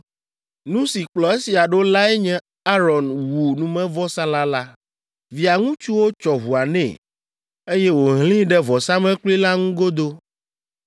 Nu si kplɔ esia ɖo lae nye Aron wu numevɔsalã la. Via ŋutsuwo tsɔ ʋua nɛ, eye wòhlẽe ɖe vɔsamlekpui la ŋu godoo.